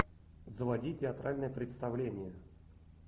заводи театральное представление